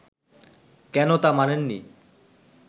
কেন তা মানেন নি